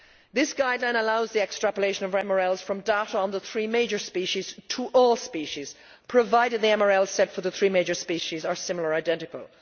This guideline allows the extrapolation of MRLs from data on the three major species to all species, provided the MRLs set for the three major species are similar or identical.